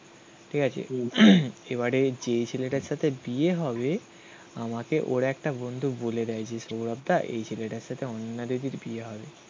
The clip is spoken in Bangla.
ঠিক আছে? এবারে যে ছেলেটার সাথে বিয়ে হবে. আমাকে ওর একটা বন্ধু বলে দেয় যে সৌরভ দা এই ছেলেটার সাথে অনন্যা দিদির বিয়ে হবে